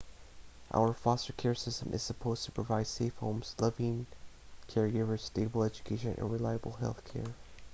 our foster care system is supposed to provide safe homes loving caregivers stable education and reliable health care